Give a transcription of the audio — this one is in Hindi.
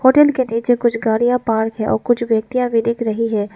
होटल के नीचे कुछ गाड़िया पार्क है और कुछ व्यक्तियां दिख रही हैं।